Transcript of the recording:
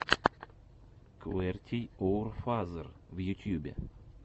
квертийоурфазер в ютьюбе